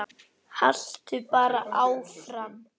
Haltu bara áfram.